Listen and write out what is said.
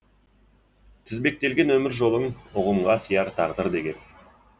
тізбектелген өмір жолың ұғымға сияр тағдыр деген